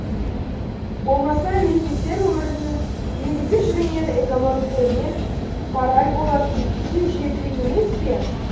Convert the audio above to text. болмаса мемлекеттер өмірінің негізгі жүгінері экономика емес мораль болатын кез жетті емес пе